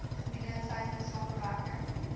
gebiede insluitende samewerking